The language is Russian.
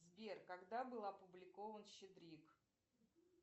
сбер когда был опубликован щедрик